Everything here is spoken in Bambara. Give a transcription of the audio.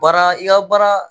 Baara i ka baara